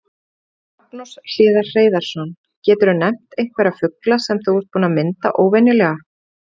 Magnús Hlynur Hreiðarsson: Geturðu nefnt einhverja fugla sem þú ert búinn að mynda óvenjulega?